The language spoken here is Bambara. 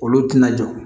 Olu tina jɔ